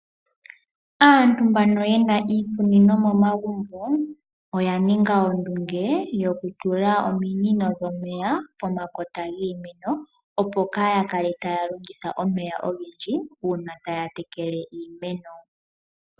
Aantu mbano yena iikunino momagumbo oyaninga ondunge yoku tula ominino pomakota giimeno opo kaaya kale taa longitha omeya ogendji uuna taya tekele iimeno.